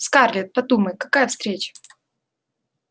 скарлетт подумай какая встреча